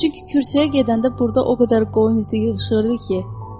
Çünki kürsəyə gedəndə burda o qədər qoyun iti yığışırdı ki.